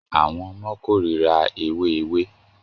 Àwọn ọmọ kórira ewé ewé